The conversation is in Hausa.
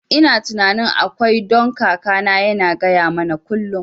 Ina tunanin akwai, don kakana yana gaya mana kullum